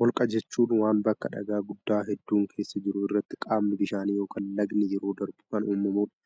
Holqa jechuun waan bakka dhagaa guddaa hedduun keessa jiru irratti qaamni bishaanii yookin lagni yeroo darbu kan uumamuu dha.